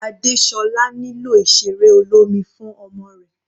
Adesola nílò ìseré olómi fún ọmọ rẹ̀.